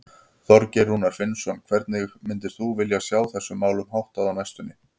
Þorgeir Rúnar Finnsson: Hvernig myndir þú vilja sjá þessum málum háttað á næstunni?